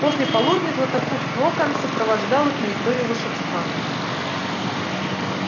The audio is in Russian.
после полудня златопуст локонс сопровождал их на историю волшебства